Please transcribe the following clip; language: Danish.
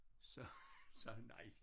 Så sagde han nej